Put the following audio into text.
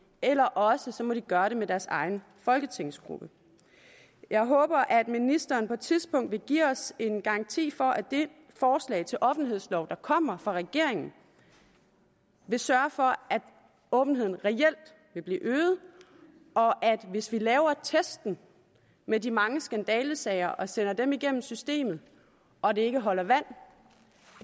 eller også må de gøre det med deres egen folketingsgruppe jeg håber at ministeren på et tidspunkt vil give os en garanti for at det forslag til offentlighedslov der kommer fra regeringen vil sørge for at åbenheden reelt vil blive øget og hvis vi laver testen med de mange skandalesager og sender dem igennem systemet og de ikke holder vand